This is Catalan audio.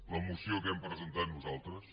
la moció que hem presentat nosaltres